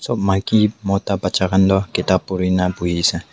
maki mota bacha khan tu ketab pure na bohe ase.